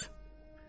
Heyf!